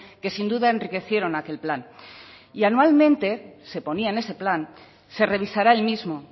que sin duda enriquecieron aquel plan y anualmente se ponía en ese plan se revisará el mismo